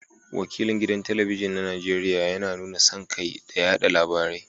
Wakilin gidan talabijin na Najeriya yana nuna son kai da yada labarai